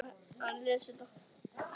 Komdu, Örn.